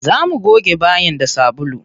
Za mu goge bayin da sabulu.